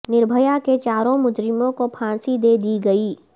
نربھیا کے چاروں مجرموں کو پھانسی دے دی گئی